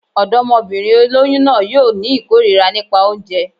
Ọ̀dọ́mọbìnrin olóyún náà yóò ní ìkórira nípa oúnjẹ